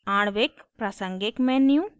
आणविक molecular प्रासंगिक menu